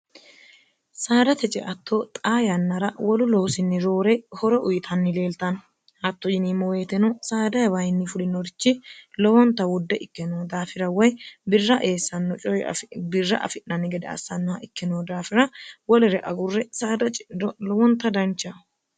saadate ceatto xaa yannara wolu loosinni roore horo uyitanni leeltanno hatto yini moweetino saadaabayinni fulinorichi lowonta wudde ikkenno daafira woy irra eessanno coyi birra afi'nanni gede assannoha ikkeno daafira wolere agurre saada clowonta danchaho